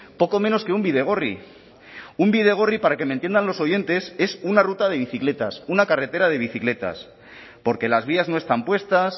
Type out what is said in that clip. poco menos que un bidegorri un bidegorri para que me entiendan los oyentes es una ruta de bicicletas una carretera de bicicletas porque las vías no están puestas